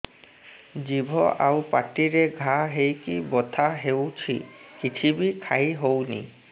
ଜିଭ ଆଉ ପାଟିରେ ଘା ହେଇକି ବଥା ହେଉଛି କିଛି ବି ଖାଇହଉନି